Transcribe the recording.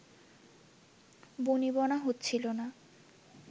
বনিবনা হচ্ছিলো না